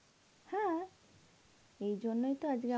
হ্যাঁ. এইজন্যই তো আজকে আমা